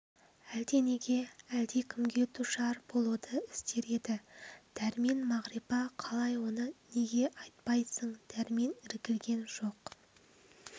әлденеге әлдекімге душар болуды іздер еді дәрмен мағрипа қалай оны неге айтпайсың дәрмен іркілген жоқ